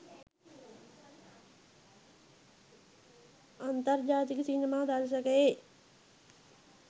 අන්තර්ජාතික සිනමා දර්ශකයේ